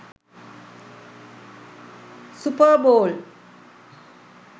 super ball